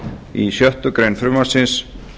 í sjöttu greinar frumvarpsins